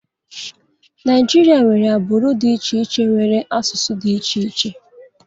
Naijiria nwere agbụrụ dị iche iche nwere asụsụ dị iche iche